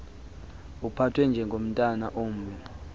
uphathwe njengomntwana ombi